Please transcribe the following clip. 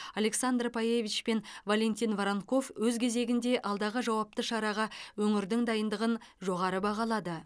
александра пайевич пен валентин воронков өз кезегінде алдағы жауапты шараға өңірдің дайындығын жоғары бағалады